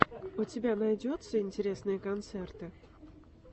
у тебя найдется интересные концерты